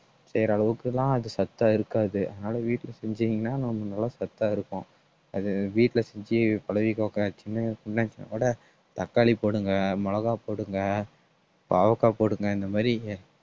செய்யிற அளவுக்கெல்லாம் அது சத்தா இருக்காது அதனாலே வீட்டில செஞ்சீங்கன்னா நம்ம நல்லா சத்தா இருக்கும் அது வீட்டுல செஞ்சு பழகிக்கோங்க தக்காளி போடுங்க மிளகாய் போடுங்க பாவக்காய் போடுங்க இந்த மாதிரி